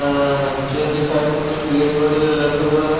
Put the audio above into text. अ chair के side में कुछ प्लाट वगेरा रखे हुए है।